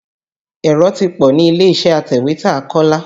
Èrò ti pọ̀ nílé-iṣẹ́ atẹ̀wétà Kọ́lá.